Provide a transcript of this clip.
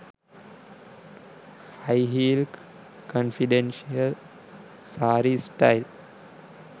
high heel confidential saree style